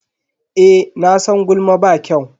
Eh, nasan gulma ba kyau.